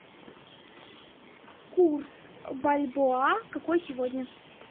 курс бальбоа какой сегодня